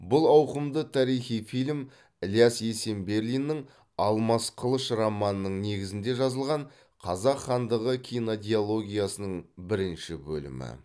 бұл ауқымды тарихи фильм ілияс есенберлиннің алмас қылыш романының негізінде жазылған қазақ хандығы кинодиологиясының бірінші бөлімі